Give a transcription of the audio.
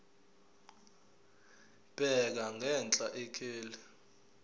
bheka ngenhla ikheli